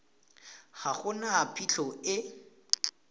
ga go na phitlho e